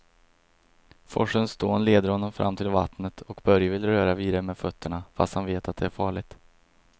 Forsens dån leder honom fram till vattnet och Börje vill röra vid det med fötterna, fast han vet att det är farligt.